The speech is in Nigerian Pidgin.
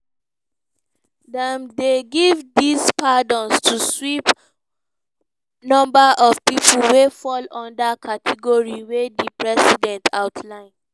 dem dey give dis pardons to sweep number of pipo wey fall under category wey di president outline.